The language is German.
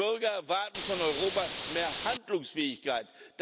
Die Bürger erwarten von Europa mehr Handlungsfähigkeit.